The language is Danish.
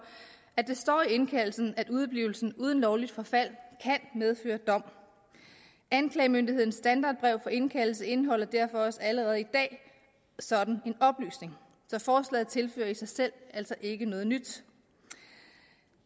at det står i indkaldelsen at udeblivelsen uden lovligt forfald kan medføre dom anklagemyndighedens standardbrev for indkaldelse indeholder derfor også allerede i dag sådan en oplysning så forslaget tilfører i sig selv altså ikke noget nyt